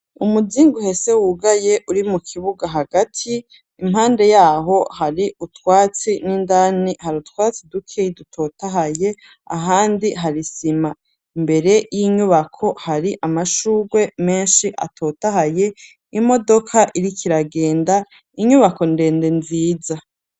Umuzingu uhese wugaye uri mu kibuga hagati impande yaho hari utwatsi n'indani hari utwatsi dukeyi dutotahaye ahandi hari isima imbere y'inyubako hari amashugwe menshi atotahaye imodoka iriko iragenda, inyubako ndende nziza.